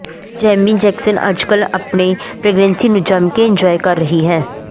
Ammy Jackson ਅੱਜ ਕੱਲ੍ਹ ਆਪਣੀ ਪ੍ਰੈਗਨੈਂਸੀ ਨੂੰ ਜੱਮਕੇ ਇੰਨਜੁਆਏ ਕਰ ਰਹੀ ਹੈ